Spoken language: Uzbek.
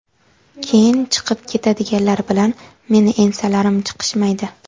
keyin chiqib ketadiganlar bilan meni ensalarim chiqishmaydi.